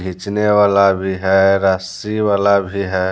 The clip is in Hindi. खींचने वाला भी है रस्सी वाला भी है।